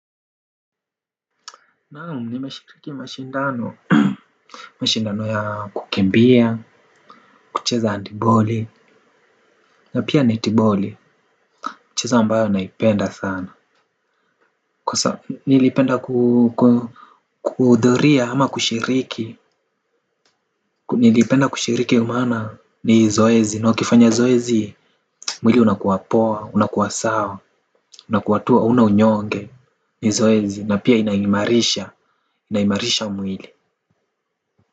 Naam nimeshiriki mashindano mashindano ya kukimbia, kucheza handtiboli na pia netiboli, micheza ambayo naipenda sana kwa nilipenda kuhudhuria ama kushiriki nilipenda kushiriki maana ni zoezi, na ukifanya zoezi mwili unakuwapoa, unakuwa sawa, unakuwa tu hauna unyonge ni zoezi na pia inaimarisha, inaimarisha mwili.